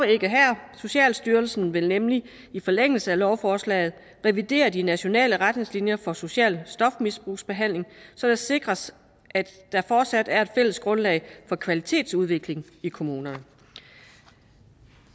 ikke her socialstyrelsen vil nemlig i forlængelse af lovforslaget revidere de nationale retningslinjer for social stofmisbrugsbehandling så det sikres at der fortsat er et fælles grundlag for kvalitetsudvikling i kommunerne